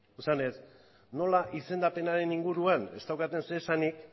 esanez nola izendapenaren inguruan ez daukaten zer esanik